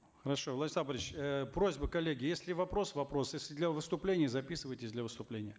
хорошо владислав борисович э просьба коллеги если вопрос вопрос если для выступления записывайтесь для выступления